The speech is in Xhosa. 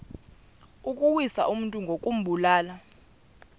ukuwisa umntu ngokumbulala